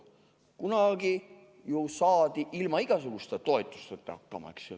Kunagi ju saadi ilma igasuguste toetusteta hakkama.